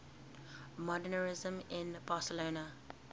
modernisme in barcelona